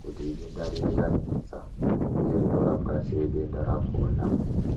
kuti idenda riri ranesa uye rinorapwa sei denda rakona.